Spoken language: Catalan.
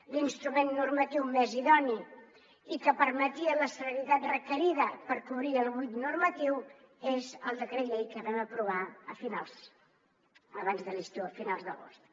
l’instrument normatiu més idoni i que permetia la celeritat requerida per cobrir el buit normatiu és el decret llei que vam aprovar abans de l’estiu a finals d’agost